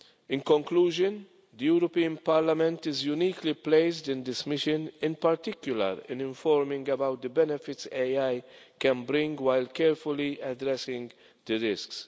In conclusion, the European Parliament is uniquely placed in this mission, in particular in informing about the benefits AI can bring while carefully addressing the risks.